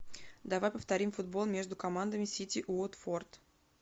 давай повторим футбол между командами сити уотфорд